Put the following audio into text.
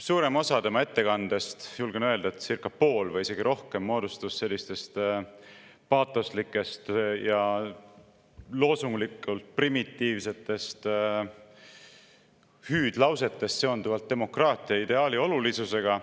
Suurem osa tema ettekandest, julgen öelda, et circa pool või isegi rohkem, moodustus sellistest paatoslikest ja primitiivsetest loosunglikest hüüdlausetest demokraatia ideaali olulisuse kohta.